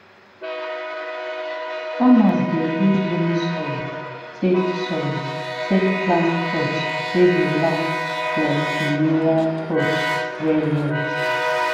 farmers dey use loamy soil take soil take plant crops wey go last like perennial crops well well